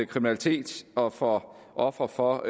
kriminalitet og for ofre for